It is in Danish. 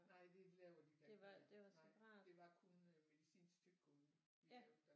Nej det laver de i et andet land nej det var kun medicinsk tyggegummi de lavede der